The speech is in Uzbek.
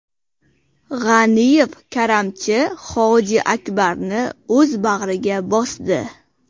G‘aniyev karamchi Hojiakbarni o‘z bag‘riga bosdi.